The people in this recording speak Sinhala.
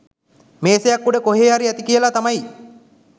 මේසයක් උඩ කොහෙ හරි ඇති කියලා තමයි